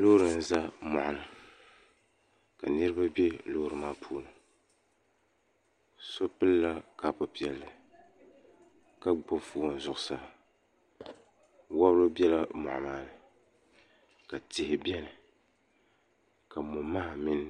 Loori n ʒɛ moɣini ka niraba bɛ loori maa puuni so pilila kaapu piɛlli ka gbubi foon zuɣusaa wobiri bɛla moɣi maani ka tihi biʋni ka momaha mini